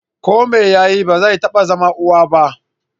Ko mai yayi, ba zai iya zama uwa ba.